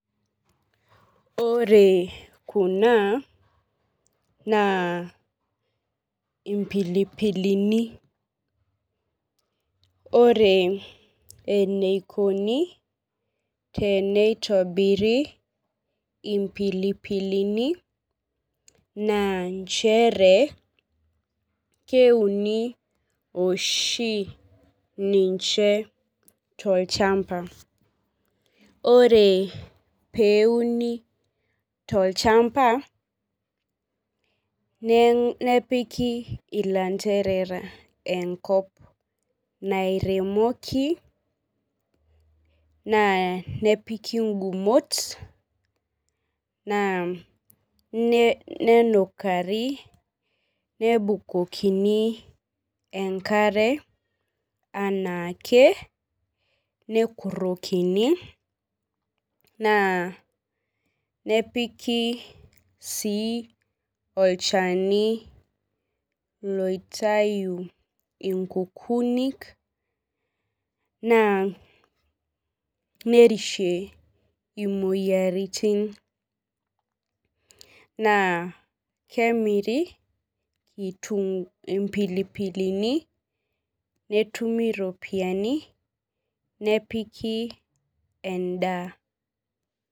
Ore kuna naa ipilipilini. Ore eneikoni teneitobiri impilipilini naa nchere keuni oshi ninche to ilchamba. Ore peuni tolchamba nepiki ilanterera enkop naireomoki naanepiki igumot nenukari nebukokini enkare anaake nepiki sii olchani loitayu inkukunik naa nerishi imoyiaritin. Naa kemiri impilipilini netumi iropiani nepiki edaa.